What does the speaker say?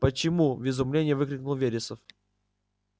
почему в изумлении выкрикнул вересов